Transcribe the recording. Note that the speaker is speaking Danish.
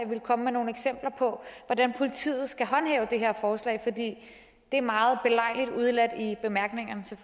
vil komme med nogle eksempler på hvordan politiet skal håndhæve det her forslag for det er meget belejligt udeladt i bemærkningerne til